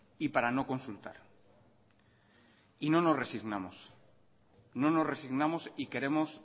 y para no consultar y no nos resignamos no nos resignamos y queremos